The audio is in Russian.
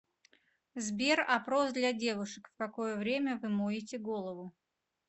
сбер опрос для девушек в какое время вы моете голову